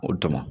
O dun mɔ